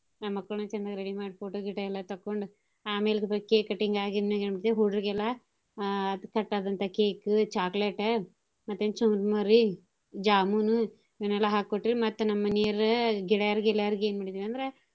ನಮ್ ಮಕ್ಳನೂ ಚಂದಗ ready ಮಾಡಿ photo ಗೀಟೊ ಎಲ್ಲಾ ತಕ್ಕೊಂಡು ಅಮೇಲ್ cake cutting ಆಗಿಂದ ಏನೈತಿ ಹುಡ್ರ್ ಗೆಲ್ಲಾ ಅ cut ಆದಂತ cake chocolate ಮತ್ತೆ ಚುರುಮರಿ jamun ಇವನ್ನೆಲ್ಲ ಹಾಕಿ ಕೊಟ್ಟಿವ್ ರಿ ಮತ್ತ ನಮ್ ಮನೀಯರು ಗೆಳೆಯಾರ್ ಗಿಳಿಯರ್ ಹಿಂಗ್ ಅಂದ್ರ.